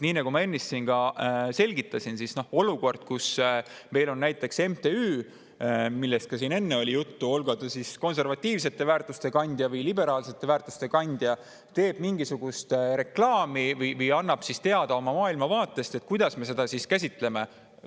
Nii nagu ma ennist siin selgitasin, et kui on olukord, kus näiteks MTÜ – sellest oli ka siin enne juttu –, olgu ta konservatiivsete väärtuste kandja või liberaalsete väärtuste kandja, teeb mingisugust reklaami või annab teada oma maailmavaatest, siis kuidas me seda käsitleme.